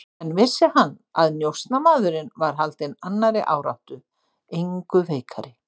En vissi hann, að njósnarmaðurinn var haldinn annarri áráttu, engu veikari?